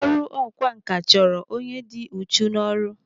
Ọrụ ọkwa nkà chọrọ onye dị uchu n'ọrụ.